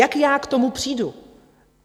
Jak já k tomu přijdu?